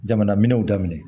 Jamana minɛnw daminɛ